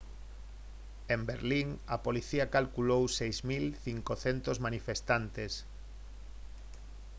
en berlín a policía calculou 6500 manifestantes